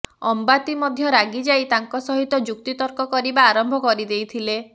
ଅମ୍ବାତି ମଧ୍ୟ ରାଗି ଯାଇ ତାଙ୍କ ସହିତ ଯୁକ୍ତିତର୍କ କରିବା ଆରମ୍ଭ କରି ଦେଇଥିଲେ